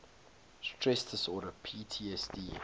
stress disorder ptsd